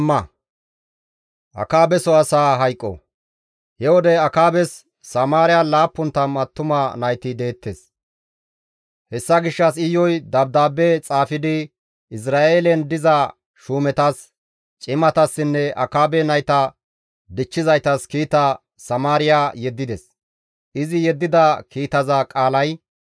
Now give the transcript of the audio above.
He wode Akaabes Samaariyan 70 attuma nayti deettes; hessa gishshas Iyuy dabdaabbe xaafidi Izra7eelen diza shuumetas, cimatassinne Akaabe nayta dichchizaytas kiita Samaariya yeddides. Izi yeddida kiitaza qaalay,